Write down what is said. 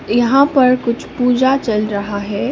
यहां पर कुछ पूजा चल रहा है।